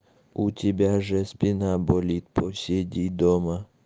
у тебя же спина болит посиди дома